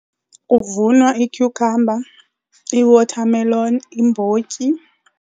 Kuvunwa i-cucumber, i-watermelon, iimbotyi.